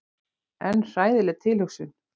En hræðileg tilhugsun.